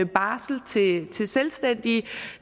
barsel til selvstændige